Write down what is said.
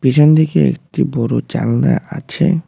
পিছন দিকে একটি বড় জালনা আছে।